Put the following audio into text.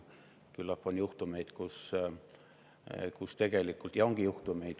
Küllap on juhtumeid, kus tegelikult mehi tõrjutakse.